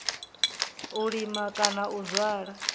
u lima kana u zwala